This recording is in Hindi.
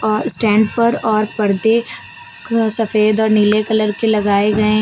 और स्टैंड पर और पर्दे सफेद और नीले कलर के लगाए गए--